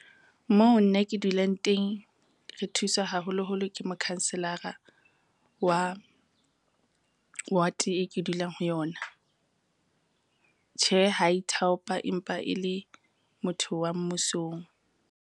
Moo nna ke dulang teng, re thusa haholoholo ke mokhanselara wa ward e ke dulang ho yona. Tjhe, ha ithaopa empa e le motho wa mmusong.